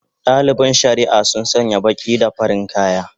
Dalibin shari'a sun sanya baki da farin kaya